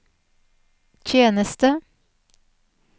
tjeneste